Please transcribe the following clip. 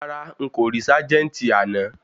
Rárá,n kò rí ságẹ́ńtì àná.